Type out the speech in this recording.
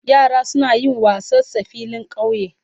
Yara suna yin wassa sa filin kauye.